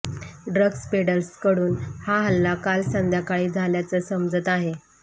drugs पेडलर्सकडून हा हल्ला काल संध्याकाळी झाल्याचं समजतं आहे